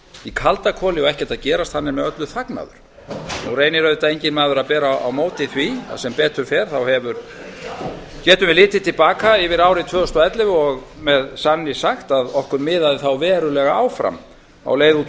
í kaldakoli og ekkert að gerast er með öllu þagnaður nú reynir auðvitað enginn maður að bera á móti því að sem betur fer getum við litið til baka yfir árið tvö þúsund og ellefu og með sanni sagt að okkur miðaði þá verulega áfram á leið út úr